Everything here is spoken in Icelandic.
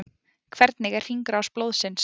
Hvernig er hringrás blóðsins?